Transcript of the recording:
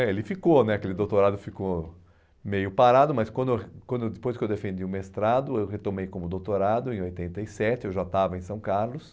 é, ele ficou né, aquele doutorado ficou meio parado, mas quando eu quando eu depois que eu defendi o mestrado, eu retomei como doutorado em oitenta e sete, eu já estava em São Carlos.